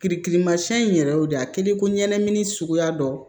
Kirikirimasiyɛn in yɛrɛ de a kɛlen ko ɲɛnɛmini suguya dɔ